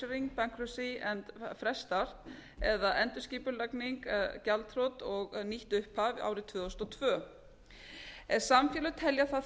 restructuring bankruptcy and a fresh start eða endurskipulagning gjaldþrot og nýtt upphaf árið tvö þúsund og tvö ef samfélög telja það